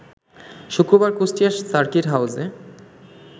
শুক্রবার কুষ্টিয়া সার্কিট হাউসে